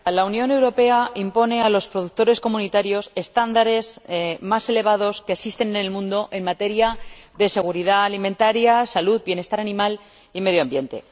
Señora Presidenta, la Unión Europea impone a los productores comunitarios los estándares más elevados que existen en el mundo en materia de seguridad alimentaria, salud, bienestar animal y medio ambiente.